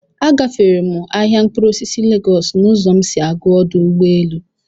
A gaféré m ahịa mkpụrụ osisi Légọọsu n'uzọ m si aga ọdụ ụgbọelu